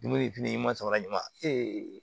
Dumuni fini ɲuman sama ɲuman